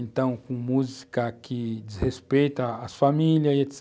Então, com música que desrespeita as famílias e etc.